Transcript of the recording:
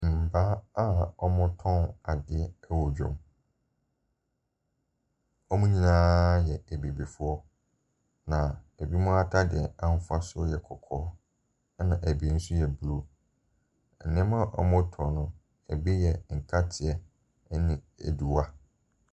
Mmaa a wɔretɔn adeɛ wɔ dwam. Wɔn nyinaa yɛ abibifoɔ, na binom atadeɛ ahosuo yɛ kɔkɔɔ, ɛnna ɛbi nso yɛ blue. Nneɛma a wɔretɔn no, ɛbi yɛ nkateɛ ne adua.